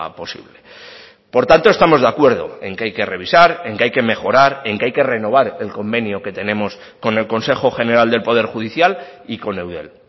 posible por tanto estamos de acuerdo en que hay que revisar en que hay que mejorar en que hay que renovar el convenio que tenemos con el consejo general del poder judicial y con eudel